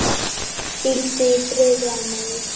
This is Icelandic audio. Hvíldu í friði, amma mín.